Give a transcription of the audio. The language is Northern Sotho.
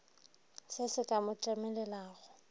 se se ka mo tlemelelago